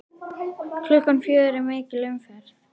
Klukkan fjögur er mikil umferð.